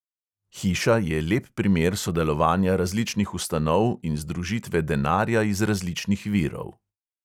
Hiša je lep primer sodelovanja različnih ustanov in združitve denarja iz različnih virov.